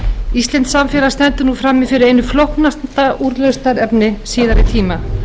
íslenskt samfélag stendur nú frammi fyrir einu flóknasta úrlausnarefni síðari tíma